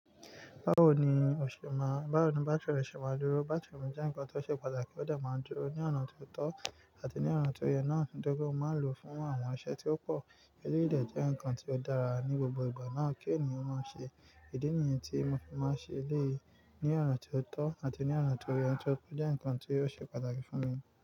Báwo ni òṣe ma n, báwo ni bátírì re se ma n dúró? Bátírì re jẹ́ ǹkan tó ṣe pàtàkì ó de máa ń dúró ní ọ̀nà ti tọ́ àti ní ọ̀nà tó yẹ náà, ni toripe mó máa ń lò fún àwọn iṣẹ́ tí ó pọ̀. Eléyi de jẹ́ ǹkan tí ó dára ní gbogbo ìgbà náà kí ènìyàn maa ṣe. Idi nìyẹn tí mo fi máa ń ṣe eléyi ní ọ̀nà ti o tọ́ àti ní ọ̀nà ti o yẹ tóripe o jẹ́ ǹkan tó ṣe pàtàkì fún mi.